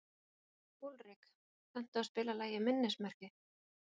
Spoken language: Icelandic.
Úlrik, kanntu að spila lagið „Minnismerki“?